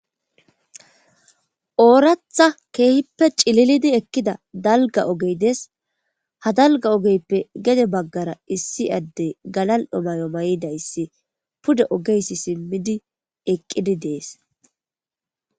ooratha keehippe cililidi ekkida dalgga ogey dees. ha dalgga ogeyppe gede baggara issi addey galal'o mayo mayidayssi pude oge simmidi eqqidi dees.